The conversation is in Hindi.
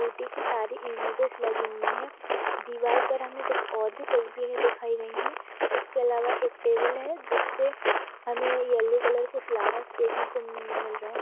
ब्यूटी की सारी इमेजेस लगी हुई हैं दीवाल पर हमे कुछ और भी तस्वीरे दिखाई गई हैं इसके अलावा एक टेबल है जिसपे हमें येलो कलर के फ्लावर्स देखने को मि मिल रहे हैं।